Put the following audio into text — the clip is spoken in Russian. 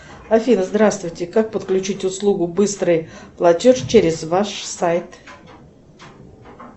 афина здравствуйте как подключить услугу быстрый платеж через ваш сайт